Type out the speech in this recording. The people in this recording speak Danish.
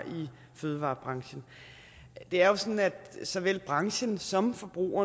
i fødevarebranchen det er jo sådan at såvel branchen som forbrugerne